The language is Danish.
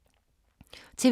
TV 2